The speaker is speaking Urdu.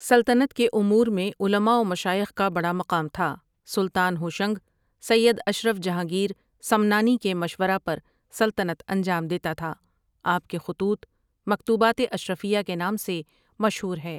سلطنت کے امور میں علما و مشائخ کا بڑا مقام تھا، سلطان ہوشنگ سید اشرف جہانگیر سمنانی کے مشورہ پر سلطنت انجام دیتا تھا، آپ کے خطوط مکتوبات اشرفیہ کے نام سے مشہور ہی ۔